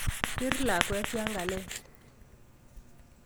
Bir lakwet yankalel